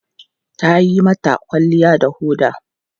Ta yi mata kwalliya da foda.